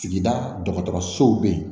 Sigida dɔgɔtɔrɔsow be ye